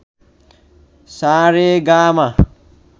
সা রে গা মা